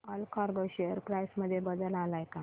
Allcargo share price मध्ये बदल आलाय का